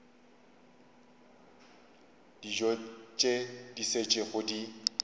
dijo tše di šetšego di